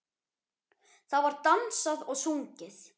Það var dansað og sungið.